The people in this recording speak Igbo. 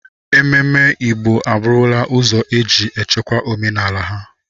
Ememme Igbo a bụrụla ụzọ eji echekwa omenala ha.